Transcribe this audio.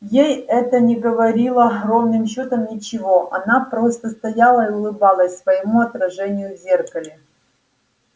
ей это не говорило ровным счётом ничего она просто стояла и улыбалась своему отражению в зеркале